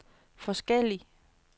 forskellig